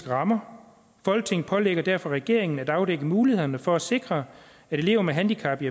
rammer folketinget pålægger derfor regeringen at afdække mulighederne for at sikre at elever med handicap i